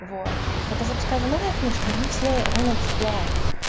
вот это вот скажи новая книжка не все вон отсюда